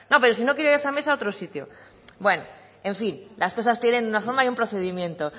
pero si no quiere esa mesa otro sitio bueno en fin las cosas tienen una forma y un procedimiento